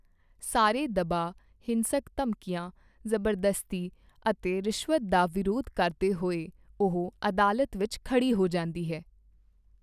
ਸਾਰੇ ਦਬਾਅ ਹਿੰਸਕ ਧਮਕੀਆਂ, ਜ਼ਬਰਦਸਤੀ ਅਤੇ ਰਿਸ਼ਵਤ ਦਾ ਵਿਰੋਧ ਕਰਦੇ ਹੋਏ ਉਹ ਅਦਾਲਤ ਵਿੱਚ ਖੜ੍ਹੀ ਹੋ ਜਾਂਦੀ ਹੈ।